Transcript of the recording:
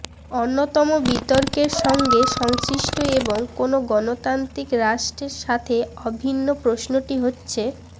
অন্যতম বিতর্কের সঙ্গে সংশ্লিষ্ট এবং কোন গণতান্ত্রিক রাষ্ট্রে সাথে অভিন্ন প্রশ্নটি হচ্ছেঃ